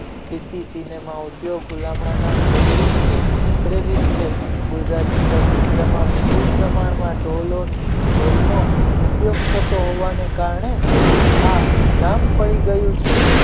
cinema ઉદ્યોગ ગુલામણા નામ bollywood થી પ્રેરિત છે ગુજરાતી ચલચિત્રમાં વિપુલ પ્રમાણમાં ઢોલનો ઉપયોગ થતો હોવાને કારણે આ નામ પડી ગયું છે